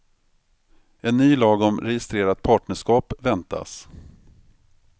En ny lag om registrerat partnerskap väntas.